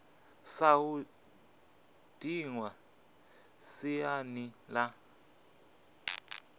sa u dinwa siani la